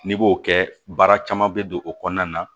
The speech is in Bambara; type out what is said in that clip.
N'i b'o kɛ baara caman bɛ don o kɔnɔna na